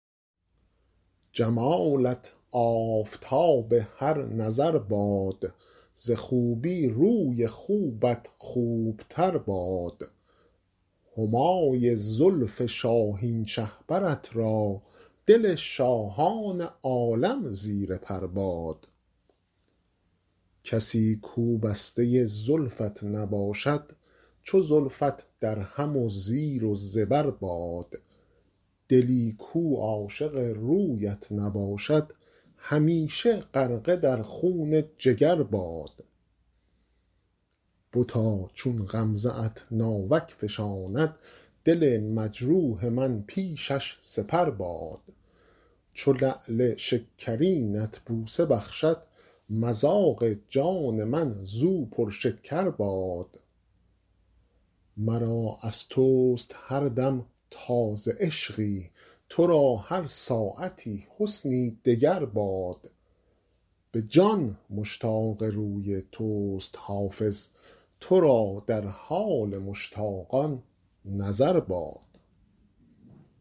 جمالت آفتاب هر نظر باد ز خوبی روی خوبت خوب تر باد همای زلف شاهین شهپرت را دل شاهان عالم زیر پر باد کسی کو بسته زلفت نباشد چو زلفت درهم و زیر و زبر باد دلی کو عاشق رویت نباشد همیشه غرقه در خون جگر باد بتا چون غمزه ات ناوک فشاند دل مجروح من پیشش سپر باد چو لعل شکرینت بوسه بخشد مذاق جان من زو پرشکر باد مرا از توست هر دم تازه عشقی تو را هر ساعتی حسنی دگر باد به جان مشتاق روی توست حافظ تو را در حال مشتاقان نظر باد